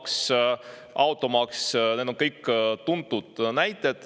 Käibemaks, tulumaks, automaks – need on kõik tuntud näited.